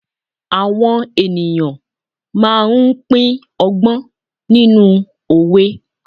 awọn ènìyàn ma n pin ọgbọ́n nínú òwe